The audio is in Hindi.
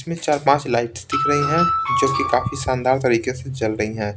इसमें चार पाँच लाइट्स दिख रही है जो कि काफी शानदार तरीके से जल रही है।